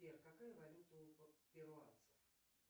сбер какая валюта у перуанцев